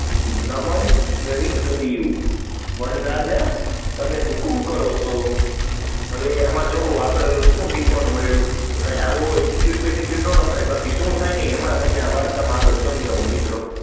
નમન કરી કહીંયુ વનરાજ તમે હુકમ કરો તો, હવે તો એમાં એક જોયું કે એમાં શું શીખવા મળિયું કે આવો attitude બેટુટૂડે ના રખાય, બાકી શું થાય એ આગળ વાતો માં સજાવું મિત્ર